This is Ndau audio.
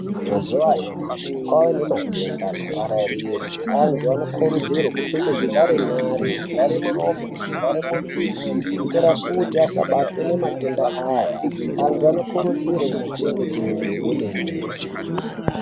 Mazuva anyamashi kwava nematenda anopararira antu anokurudzirwa kupfeka zvivhare nyara zvivhara muromo nezvivhara muviri kuitira kuti asabatwe nematenda aya antu anokurudzirwa kuzvichengetedza kwemene.